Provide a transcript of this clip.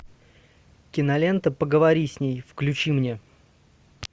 кинолента поговори с ней включи мне